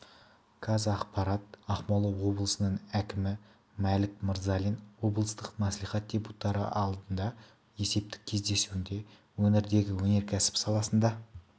қазақпарат ақмола облысының әкімі мәлік мырзалин облыстық мәслихат депутаттары алдында өткен есептік кездесуінде өңірдегі өнеркәсіп саласында